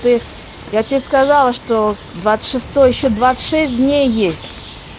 ты я тебе сказала что к двадцать шестой ещё двадцать шесть дней есть